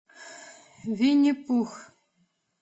винни пух